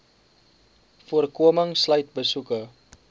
voorkoming sluit besoeke